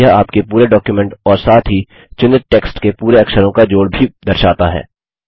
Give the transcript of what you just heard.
यह आपके पूरे डॉक्युमेंट और साथ ही चुनित टेक्स्ट के पूरे अक्षरों का जोड़ भी दर्शाता है